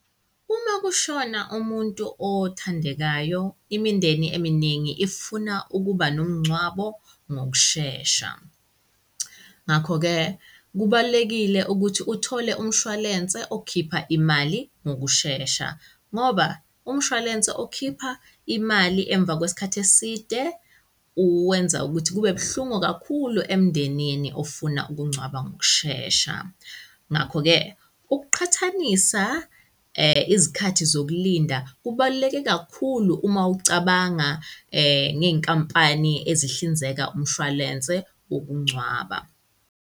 Uma kushona umuntu othandekayo, imindeni eminingi ifuna ukuba nomngcwabo ngokushesha. Ngakho-ke kubalulekile ukuthi uthole umshwalense okhipha imali ngokushesha ngoba umshwalense okhipha imali emva kwesikhathi eside uwenza ukuthi kube buhlungu kakhulu emndenini ofuna ukungcwaba ngokushesha. Ngakho-ke ukuqhathanisa izikhathi zokulinda kubaluleke kakhulu uma ucabanga ngey'nkampani ezihlinzeka umshwalense wokungcwaba.